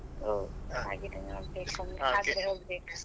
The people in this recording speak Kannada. ಹೌದು.